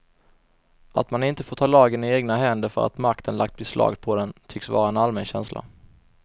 Att man inte får ta lagen i egna händer för att makten lagt beslag på den, tycks vara en allmän känsla.